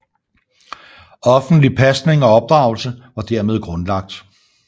Offentlig pasning og opdragelse var dermed grundlagt